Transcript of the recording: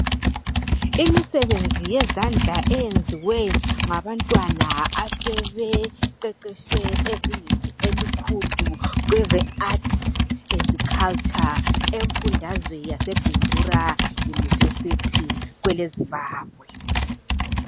Imisebenzi yezandla eyenziwe ngabantwana asebeqeqeshe ezingeni elikhulu kweze Art and Culture emfundazweni yase Bindura University kwele Zimbabwe.